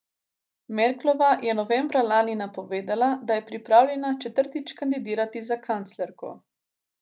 Merklova je novembra lani napovedala, da je pripravljena četrtič kandidirati za kanclerko.